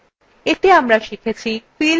এতে আমরা শিখেছি